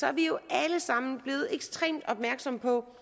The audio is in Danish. er vi jo alle sammen blevet ekstremt opmærksomme på